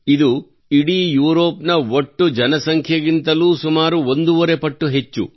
ಇದು ಇಡೀ ಯೂರೋಪ್ ನ ಒಟ್ಟು ಜನಸಂಖ್ಯೆಗಿಂತಲೂ ಸುಮಾರು ಒಂದೂವರೆ ಪಟ್ಟು ಹೆಚ್ಚು